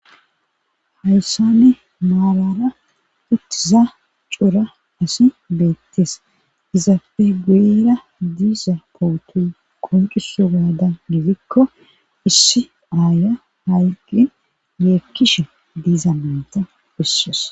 Hayssana maarara uttiza cora asi beettes .Izaafe guyera diiza pootoyi qonccissogaadan gidikko issi aaya hayiqishin yeekkishe diiza nayita beesses.